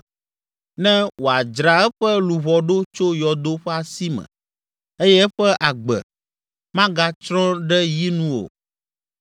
ne wòadzra eƒe luʋɔ ɖo tso yɔdo ƒe asi me eye eƒe agbe magatsrɔ̃ ɖe yi nu o.